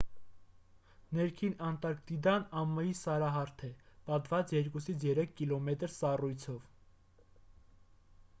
ներքին անտարկտիդան ամայի սարահարթ է պատված 2-3 կմ սառույցով